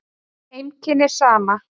Heimkynni Sama.